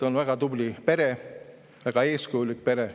On väga tubli pere, väga eeskujulik pere.